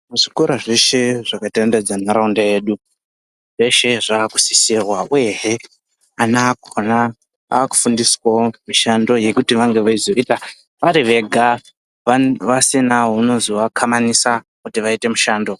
Muzvikora zveshe zvakatenderedza nharaunda yedu, zveshe zvakusisirwa uyehe ana akugona, akufundiswawo mishando yekuti vange veizoita vari vega vasina unozovakhamanisa kuti vaite mushando.